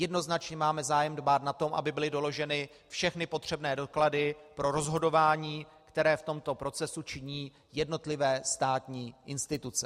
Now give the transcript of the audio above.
Jednoznačně máme zájem dbát na to, aby byly doloženy všechny potřebné doklady pro rozhodování, které v tomto procesu činí jednotlivé státní instituce.